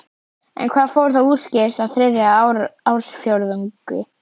En hvað fór þá úrskeiðis á þriðja ársfjórðungi?